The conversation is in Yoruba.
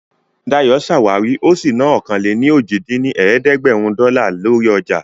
Dayọ̀ ṣàwárí ó sì ná ọ̀kan-lé-ní-ojì dín ní ẹ̀ẹ́dẹ́gbẹ́rún dọ́là lórí ọjà